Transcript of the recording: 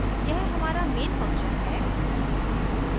अब यह हमारा main function है